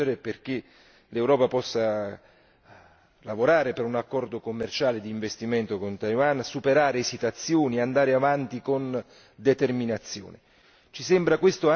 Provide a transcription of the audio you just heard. Per questo è fondamentale spingere perché l'Europa possa lavorare per un accordo commerciale di investimento con Taiwan, superare esitazioni, andare avanti con determinazione.